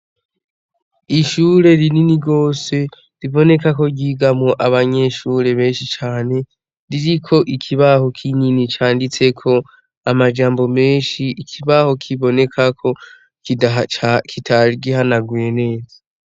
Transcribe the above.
Ishure rinini rwose riboneka ko ryigamwo abanyeshure benshi cane ririko ikibaho k'inini canditseko amajambo menshi ikibaho kibonekako kitari gihanaguye neza.